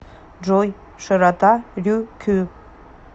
джой широта рюкю